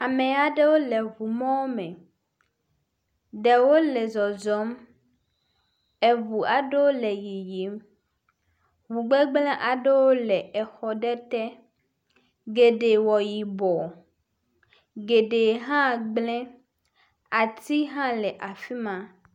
Ame aɖewo le ŋu mɔ me. Ɖewo le zɔzɔm eŋu aɖewo le yiyim. Mogbegble aɖewo le exɔ aɖe te. Geɖe wɔ yibɔ, geɖe hã gble. Ati hã le afi ma.